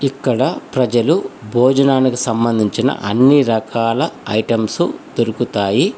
ఇక్కడ ప్రజలు భోజనానికి సంబంధించిన అన్ని రకాల ఐటమ్స్ దొరుకుతాయి.